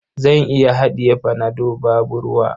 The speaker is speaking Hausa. Zan iya haɗiye panado babu ruwa.